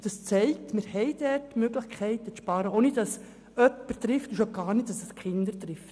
Dies zeigt, dass wir dort Sparmöglichkeiten haben, womit wir niemanden treffen, und vor allem ohne dass es die Kinder trifft.